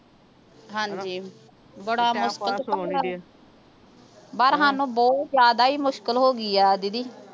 ਹਾਂਜੀ ਹਣਾ ਬੜਾ ਪਰ ਸਾਨੂੰ ਬਹੁਤ ਜਿਆਦਾ ਹੀ ਮੁਸ਼ਕਿਲ ਹੋ ਗਈ ਆ ਦੀਦੀ